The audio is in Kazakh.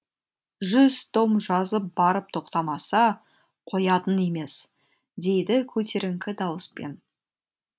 жүз том жазып барып тоқтамаса қоятын емес дейді көтеріңкі дауыспен